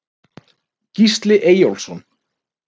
Gísli Eyjólfsson